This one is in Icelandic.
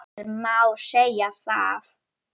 Hér má segja að